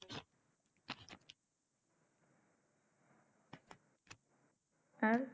আর